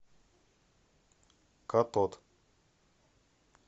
катод